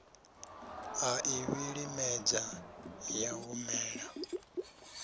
a i vhilimedza ya humela